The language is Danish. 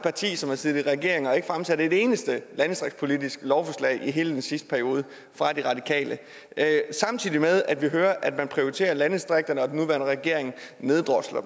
parti som har siddet i regering og ikke fremsat et eneste landdistriktspolitisk lovforslag i hele den sidste periode samtidig med at vi hører at man prioriterer landdistrikterne og at den nuværende regering neddrosler